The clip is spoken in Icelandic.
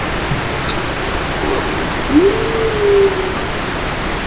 Eftir framhjáhald breytast samskiptin við makann verulega.